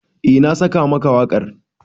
Eh na saka maka wakar.